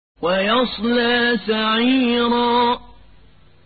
وَيَصْلَىٰ سَعِيرًا